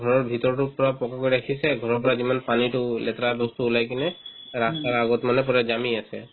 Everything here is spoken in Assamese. ঘৰৰ ভিতৰতো পূৰা পকী কৰি ৰাখিছে ঘৰৰ পৰা যিমান পানীতো লেতেৰা বস্তু ওলাই কিনে ৰাস্তাৰ আগত মানে পূৰা জামি আছে